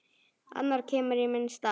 Annar kemur í minn stað.